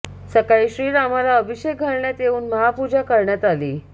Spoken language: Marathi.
सकाळी श्रीरामाला अभिषेक घालण्यात येऊन महापूजा करण्यात आली